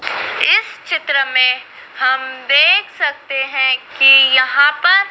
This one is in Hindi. इस चित्र में हम देख सकते हैं कि यहां पर--